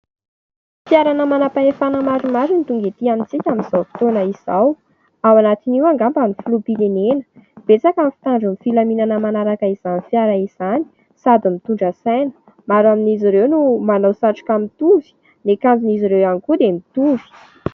Ny fiarana manam-pahefana maromaro ny tonga etỳ amintsika amin'izao fotoana izao ; ao anatiny io angamba amin'ny filoham-pirenena. Betsaka ny fitandron'ny filaminana manaraka izany fiara izany sady mitondra saina. Maro amin'izy ireo no manao satroka mitovy ; ny akanjon'izy ireo ihany koa dia mitovy.